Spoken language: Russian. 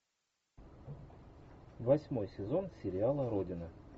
восьмой сезон сериала родина